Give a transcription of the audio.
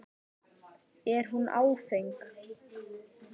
Er hún áfeng?